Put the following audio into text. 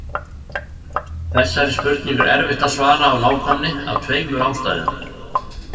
Þessari spurningu er erfitt að svara af nákvæmni af tveimur ástæðum.